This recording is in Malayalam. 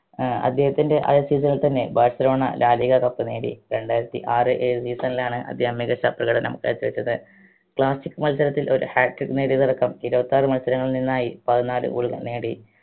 അഹ് അദ്ദേഹത്തിൻറെ ആദ്യ season ൽ തന്നെ ബാഴ്‌സലോണ ലാ ലിഗ cup നേടി രണ്ടായിരത്തി ആറ് ഏഴ് season ലാണ് അദ്ദേഹം മികച്ച പ്രകടനം കാഴ്ച വെച്ചത് classic മത്സരത്തിൽ ഒരു hatric നേടിയതടക്കം ഇരുപത്താറ് മത്സരങ്ങളിൽ നിന്നായി പതിനാല് goal കൾ നേടി